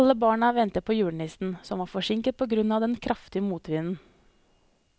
Alle barna ventet på julenissen, som var forsinket på grunn av den kraftige motvinden.